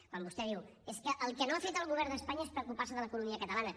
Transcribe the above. quan vostè diu és que el que no ha fet el govern d’espanya és preocupar se de l’economia catalana